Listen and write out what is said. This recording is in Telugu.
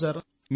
అవును సార్